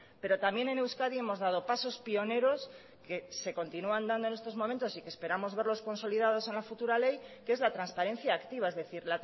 pero también en euskadi hemos dado pasos pioneros que se continúan dando en estos momentos y que esperamos verlos consolidados en la futura ley que es la transparencia activa es decir